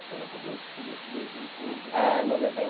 Foi lá para dois, começo de dois mil e pouco, dois mil e dois. É noventa e